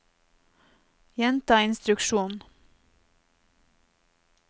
gjenta instruksjon